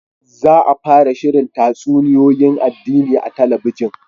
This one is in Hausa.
Za a fara shirin tatsuniyoyin addini a talabijin